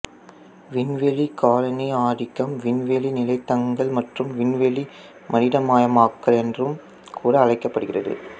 விண்வெளி காலனியாதிக்கம் விண்வெளி நிலைத்தங்கல் மற்றும் விண்வெளி மனிதமயமாக்கல் என்றும் கூட அழைக்கப்படுகிறது